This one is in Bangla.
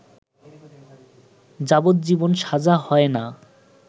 যাবজ্জীবন সাজা হয় না